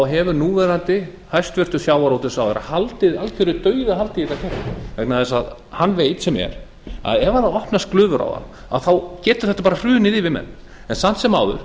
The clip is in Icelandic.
hefur núverandi hæstvirtan sjávarútvegsráðherra haldið algeru dauðahaldi í þetta kerfi vegna þess að hann veit sem er að ef opnast glufur á það þá getur þetta hrunið yfir menn samt sem áður